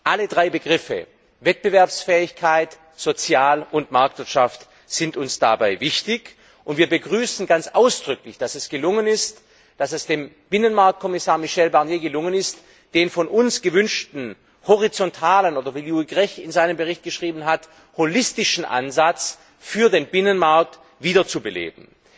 Alle drei Begriffe Wettbewerbsfähigkeit, sozial und Marktwirtschaft sind uns dabei wichtig, und wir begrüßen ganz ausdrücklich, dass es dem für den Binnenmarkt zuständigen Kommissar Michel Barnier gelungen ist, den von uns gewünschten horizontalen oderwie Louis Grech in seinem Bericht geschrieben hat, holistischen Ansatz für den Binnenmarkt wiederzubeleben.